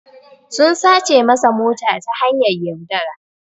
sun sace masa mota ta hanyar yaudara.